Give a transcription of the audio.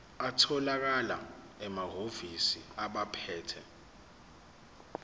atholakala emahhovisi abaphethe